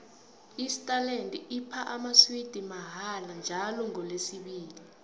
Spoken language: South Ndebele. isterland iphana amaswidi mahala njalo ngolesibili